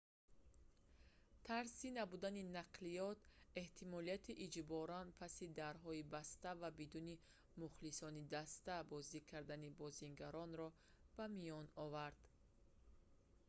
тарси набудани нақлиёт эҳтимолияти иҷборан паси дарҳои баста ва бидуни мухлисони даста бозӣ кардани бозигаронро ба миён овард